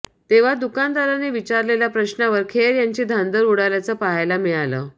तेव्हा दुकानदाराने विचारलेल्या प्रश्नावर खेर यांची धांदल उडाल्याचं पाहायला मिळालं